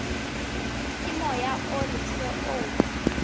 ke moya o leswe o